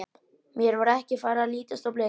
Mér var ekki farið að lítast á blikuna.